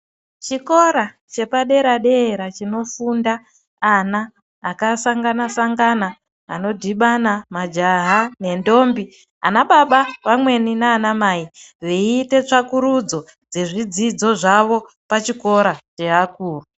Chikora chepadera-dera chinofunda ana akasangana-sangaana. Anodhibana majaha nendombi, anababa vamweni nanamai veiite tsvakurudzo yezvidzidzo zvavo pachikora cheakuru.